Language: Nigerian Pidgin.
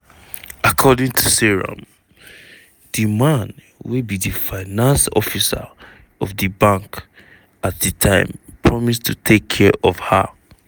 according to seyram di man wey be di finance officer of di bank at di time promise to take care of her.